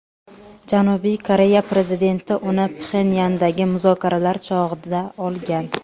Janubiy Koreya prezidenti uni Pxenyandagi muzokaralar chog‘ida olgan.